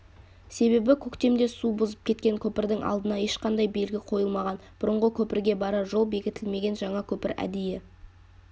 себебі көктемде су бұзып кеткен көпірдің алдына ешқандай белгі қойылмаған бұрынғы көпірге барар жол бекітілмеген жаңа көпір әдейі